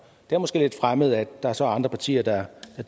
det er måske lidt fremmed at der så er andre partier der